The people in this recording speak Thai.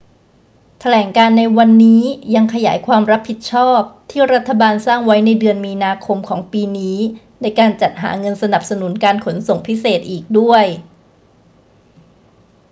แถลงการณ์ในวันนี้ยังขยายความรับผิดชอบที่รัฐบาลสร้างไว้ในเดือนมีนาคมของปีนี้ในการจัดหาเงินสนับสนุนการขนส่งพิเศษอีกด้วย